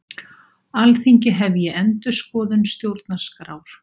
Alþingi hefji endurskoðun stjórnarskrár